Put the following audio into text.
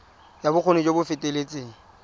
ya bokgoni jo bo feteletseng